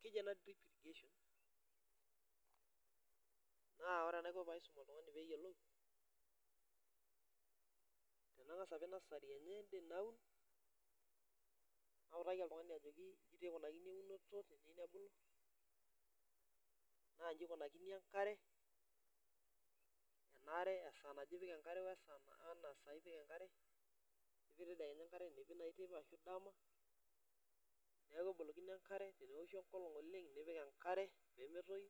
Keji ena drip irrigation. Naa ore enaikoni pee aisum oltungani pee eyiolou, nangas apik nasary enye ende naun. Nautaki ajoki ijo eikoni eunotonaa njii enikunakini enkare ,naa esaa naje epiki enkare, nipik naaji teipa nipik dama .Neeku kebolokini enkare teneoshu enkolong oleng nipik enkare pee metoyu